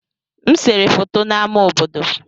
M sere foto n'ámá obodo.